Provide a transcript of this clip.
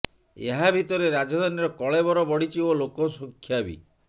ଏହା ଭିତରେ ରାଜଧାନୀର କଳେବର ବଢ଼ିଛି ଓ ଲୋକସଂଖ୍ୟା ବି